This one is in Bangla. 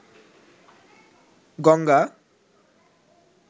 গঙ্গা